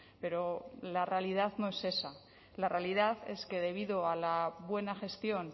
pero la realidad no es esa la realidad es que debido a la buena gestión